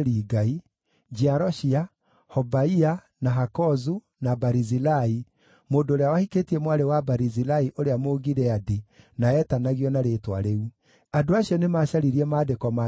Atongoria amwe a nyũmba nĩmarutire indo ciao nĩ ũndũ wa wĩra ũcio. Barũthi wa kũu nĩaheanire durakima